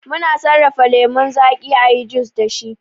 Mu na sarrafa lemon zaki ayi jus da shi